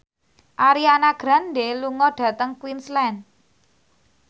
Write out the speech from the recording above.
Ariana Grande lunga dhateng Queensland